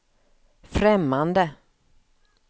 främmande